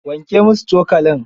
Wanke musu cokalin.